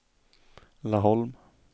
Laholm